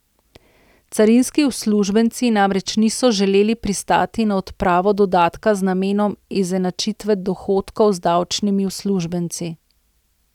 Carinski uslužbenci namreč niso želeli pristati na odpravo dodatka z namenom izenačitve dohodkov z davčnimi uslužbenci.